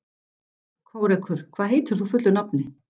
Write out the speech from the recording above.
Kórekur, hvað heitir þú fullu nafni?